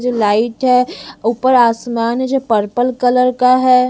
जो लाइट है ऊपर आसमान है जो पर्पल कलर का है।